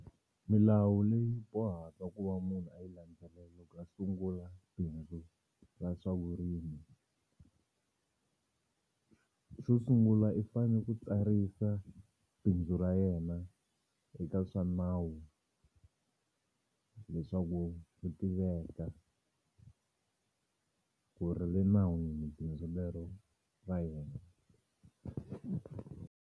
Milawu leyi bohaka ku va munhu a yi landzelela loko a sungula bindzu ra swa vurimi. Xo sungula i fanele ku tsarisa bindzu ra yena eka swa nawu leswaku ku tiveka ku ri le nawini bindzu lero ra yena.